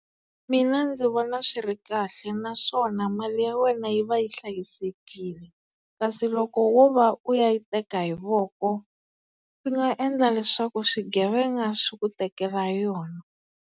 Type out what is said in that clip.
Mina ndzi vona swi ri kahle naswona mali ya wena yi va yi hlayisekile kasi loko wo va u ya yi teka hi voko swi nga endla leswaku swigevenga swi ku tekela yona.